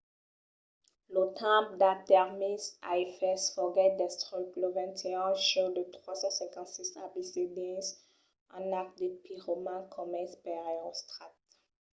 lo temple d'artèmis a efès foguèt destruch lo 21 de julh de 356 abc dins un acte de piroman comés per erostrat